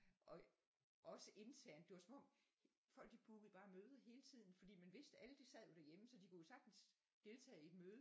Og også internt det var som om folk de bookede bare møder hele tiden fordi man vidste at alle de sad jo derhjeme så de kunne jo sagtens deltage i et møde